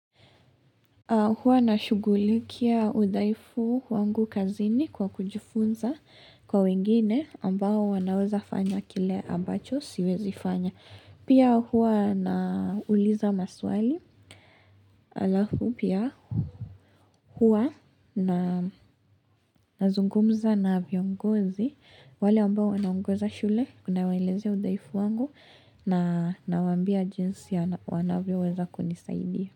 Huwa na shugulikia udhaifu wangu kazini kwa kujifunza kwa wengine ambao wanaweza fanya kile ambacho siwezi fanya. Pia huwa na uliza maswali alafu pia huwa na zungumza na viongozi wale ambao wanaongoza shule kuna waeleze udaifu wangu na nawambia jinsi ya wanavyo weza kunisaidia.